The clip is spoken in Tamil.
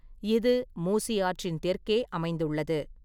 இது மூசி ஆற்றின் தெற்கே அமைந்துள்ளது.